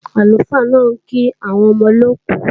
Àlùfáà náà ń kí àwọn ọmọ olóòkú